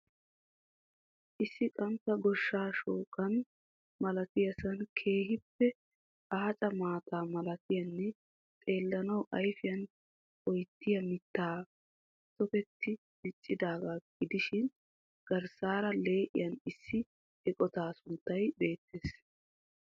Issi qantta goshsha shooqqa malattiyasaan keehiipe aaca maata malattiyanne xeelanawu ayfiya oyqqiya mittay tokketi diccidaagaa gidishiin garssara lee'iyan issi eqotaa sunttay beettees.